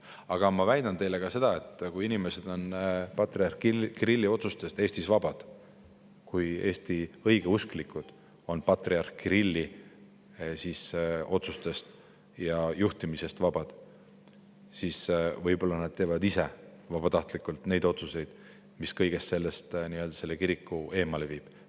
Aga ma väidan teile ka seda, kui inimesed Eestis on patriarh Kirilli otsustest vabad, kui Eesti õigeusklikud on patriarh Kirilli juhtimise alt, siis võib-olla teevad nad ise vabatahtlikult selliseid otsuseid, mis kiriku kõigest sellest eemale viib.